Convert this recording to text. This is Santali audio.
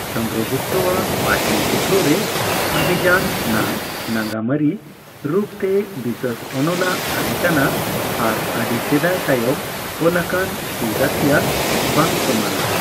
ᱪᱚᱱᱫᱨᱚᱜᱩᱯᱛᱚᱣᱟᱜ ᱯᱟᱴᱞᱤᱯᱩᱛᱨᱚ ᱨᱮ ᱚᱵᱷᱤᱭᱟᱱ ᱱᱟᱜ ᱱᱟᱜᱟᱢᱟᱹᱨᱤ ᱨᱩᱯᱛᱮ ᱵᱤᱥᱟᱹᱥ ᱚᱱᱚᱞ ᱟᱜ ᱛᱟᱦᱮᱸ ᱠᱟᱱᱟ ᱟᱨ ᱟᱹᱰᱤ ᱥᱮᱫᱟᱭ ᱛᱟᱭᱚᱢ ᱚᱞᱟᱠᱟᱱ ᱠᱤᱸᱣᱫᱚᱸᱛᱤᱭᱟᱸ ᱵᱟᱝ ᱥᱚᱢᱟᱱᱟ᱾